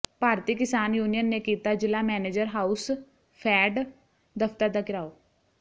ਭਾਰਤੀ Kisan union ਨੇ ਕੀਤਾ ਜ਼ਿਲ੍ਹਾ ਮੈਨੇਜਰ ਹਾਊਸਫੈਡ ਦਫ਼ਤਰ ਦਾ ਿਘਰਾਓ